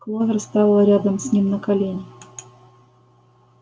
кловер стала рядом с ним на колени